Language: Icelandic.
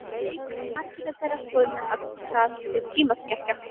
Margir eru þeirrar skoðunar að það sé tímaskekkja.